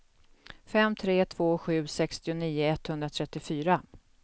fem tre två sju sextionio etthundratrettiofyra